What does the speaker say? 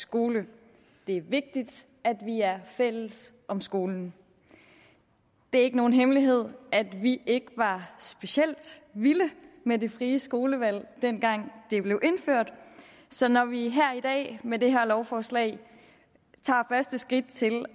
skole det er vigtigt at vi er fælles om skolen det er ikke nogen hemmelighed at vi ikke var specielt vilde med det frie skolevalg dengang det blev indført så når vi her i dag med det her lovforslag tager første skridt til